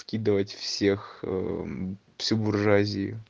скидывать всех ээ всю буржуазию